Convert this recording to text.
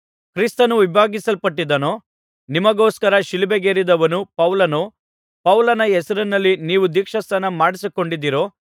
ಕ್ರಿಸ್ತನು ವಿಭಾಗಿಸಲ್ಪಟ್ಟಿದ್ದಾನೋ ನಿಮಗೋಸ್ಕರ ಶಿಲುಬೆಗೇರಿದವನು ಪೌಲನೋ ಪೌಲನ ಹೆಸರಿನಲ್ಲಿ ನೀವು ದೀಕ್ಷಾಸ್ನಾನ ಮಾಡಿಸಿಕೊಂಡಿದ್ದೀರೋ